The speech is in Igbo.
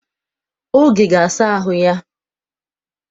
Oge ga-asa ahụ ya.